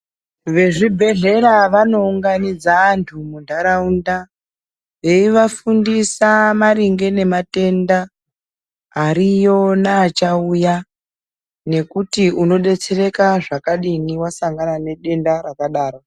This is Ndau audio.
Vezvibhedhlera vanounganidza anthu munharaunda veivafundisa maringe ngematenda ariyo neachauya nekuti unodetsereka zvakadini wasangana nedenda rakadaro.